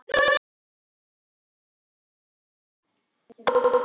Litli heili getur skemmst við högg, en einnig við slag, blæðingu, æxli og hrörnunarsjúkdóma.